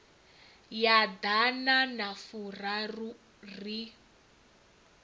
ya ḓana na furaru ri